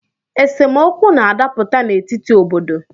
Esemokwu na-adaputa n’etiti obodo